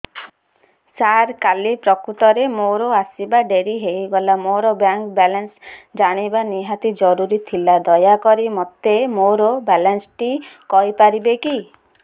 ସାର କାଲି ପ୍ରକୃତରେ ମୋର ଆସିବା ଡେରି ହେଇଗଲା ମୋର ବ୍ୟାଙ୍କ ବାଲାନ୍ସ ଜାଣିବା ନିହାତି ଜରୁରୀ ଥିଲା ଦୟାକରି ମୋତେ ମୋର ବାଲାନ୍ସ ଟି କହିପାରିବେକି